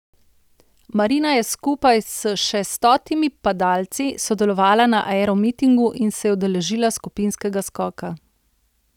Marina je skupaj s še stotimi padalci sodelovala na aeromitingu in se je udeležila skupinskega skoka.